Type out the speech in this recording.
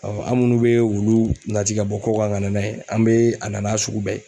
Ɔ an munnu be wulu nati ka bɔ ko kan ka na n'a ye an be a na n'a sugu bɛɛ ye